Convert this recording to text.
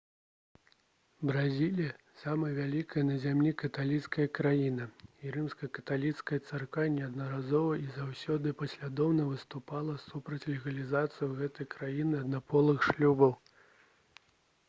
бразілія самая вялікая на зямлі каталіцкая краіна і рымска-каталіцкая царква неаднаразова і заўсёды паслядоўна выступала супраць легалізацыі ў гэтай краіне аднаполых шлюбаў